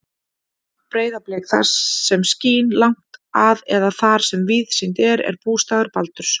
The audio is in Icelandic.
Breiðablik, það sem skín langt að eða þar sem víðsýnt er, er bústaður Baldurs.